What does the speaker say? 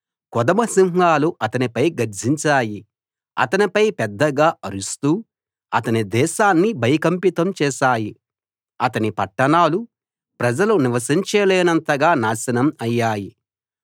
కొదమ సింహాలు అతనిపై గర్జించాయి అతనిపై పెద్దగా అరుస్తూ అతని దేశాన్ని భయకంపితం చేశాయి అతని పట్టణాలు ప్రజలు నివసించలేనంతగా నాశనం అయ్యాయి